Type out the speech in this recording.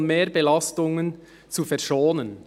] von Mehrbelastungen zu verschonen».